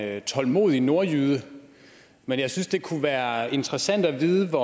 er en tålmodig nordjyde men jeg synes det kunne være interessant at vide